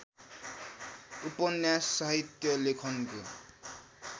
उपन्यास साहित्य लेखनको